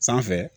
Sanfɛ